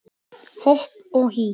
Hopp og hí